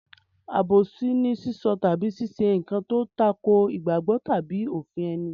Àbòsí ni sísọ tàbí ṣíṣe nǹkan tó tako ìgbàgbọ́ tàbí òfin ẹni.